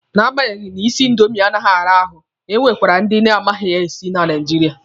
Na agbanyeghị na isi indomi anaghị ara ahụ, e nwekwara ndị na-amaghi ya esi na Naijiria.